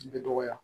Bɛ dɔgɔya